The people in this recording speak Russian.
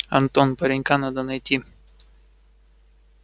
антон паренька надо найти